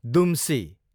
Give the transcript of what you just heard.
दुम्सी